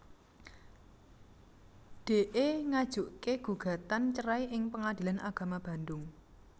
Dee ngajuké gugatan cerai ing Pengadilan Agama Bandung